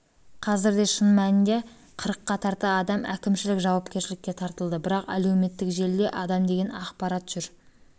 қазірде шын мәнінде қырыққа тарта адам әкімшілік жауапкершілікке тартылды бірақ әлеуметтік желіде адам деген ақпарат жүр